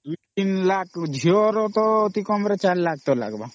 3 Lakh ଝିଅ ର ଅତି କମ ରେ 4 Lakh ଲଗବା